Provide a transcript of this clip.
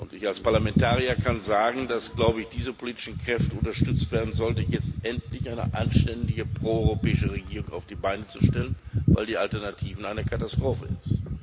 Ich als Parlamentarier kann sagen, dass diese politischen Kräfte unterstützt werden sollten, jetzt endlich eine anständige, proeuropäische Regierung auf die Beine zu stellen, weil die Alternative eine Katastrophe ist.